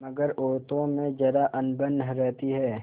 मगर औरतों में जरा अनबन रहती है